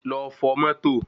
Lọ fọ̀ mọ́tò